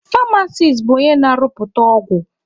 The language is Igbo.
Famasis bụ onye na-arụpụta ọgwụ.